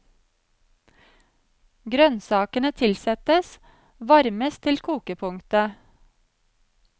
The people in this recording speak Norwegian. Grønnsakene tilsettes, varmes til kokepunktet.